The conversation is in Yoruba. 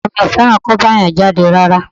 Ọkọ mi ò fẹ́ràn kó bá èèyàn jáde rárá